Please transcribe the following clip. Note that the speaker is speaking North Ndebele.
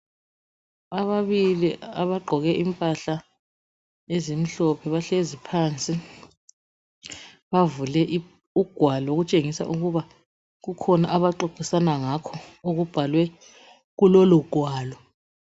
ababili abagqoke imphahla ezimhlophe bahlezi phansi bavule ugwalo okutshengisa ukuba kukhona abaxoxisana ngakho okubhalwe kulolo gwalo